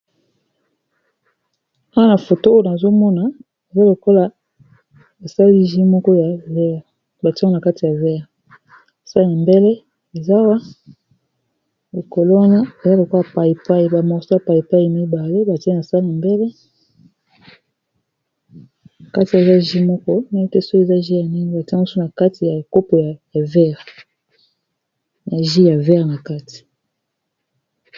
Na foto oyo nazomona eza lokola sgbatiano na kati ya ver sal ya mbele lokolo wana ea lokola paipai, ba morsea païpai mibale kati ya eza g moko nete soi ezaji ya nini batktiya ekopo na ji ya ver na kati.